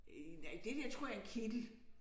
Øh nej det der tror jeg er en kittel